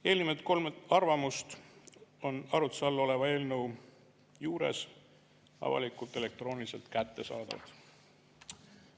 Eelnimetatud kolm arvamust on arutluse all oleva eelnõu juures avalikult elektrooniliselt kättesaadavad.